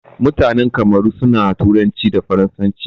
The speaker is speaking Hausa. Mutanan Kamaru suna turanci da faransanci.